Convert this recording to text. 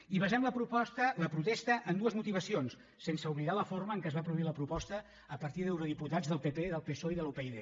i basem la protesta en dues motivacions sense oblidar la forma en què es va produir la proposta a partir d’eurodiputats del pp del psoe i de la upyd